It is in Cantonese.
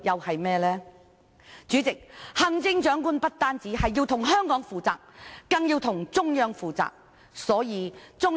行政長官不但要向香港負責，更要向中央負責。